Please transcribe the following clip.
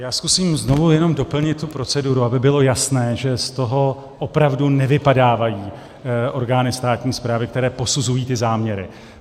Já zkusím znovu jenom doplnit tu proceduru, aby bylo jasné, že z toho opravdu nevypadávají orgány státní správy, které posuzují ty záměry.